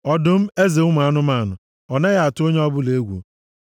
Ọdụm, eze ụmụ anụmanụ. Ọ naghị atụ onye ọbụla egwu,